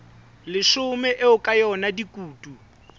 leshome eo ka yona dikutu